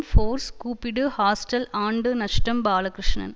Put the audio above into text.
force கூப்பிடு hostel ஆண்டு நஷ்டம் பாலகிருஷ்ணன்